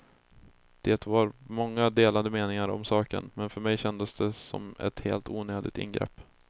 Det var många delade meningar om saken, men för mig kändes det som ett helt onödigt ingrepp.